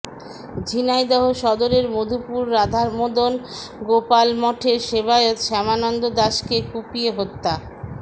ঝিনাইদহ সদরের মধুপুর রাধামদন গোপাল মঠের সেবায়েত শ্যামানন্দ দাসকে কুপিয়ে হত্যা